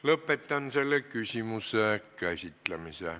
Lõpetan selle küsimuse käsitlemise.